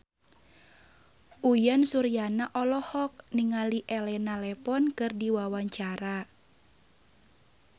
Uyan Suryana olohok ningali Elena Levon keur diwawancara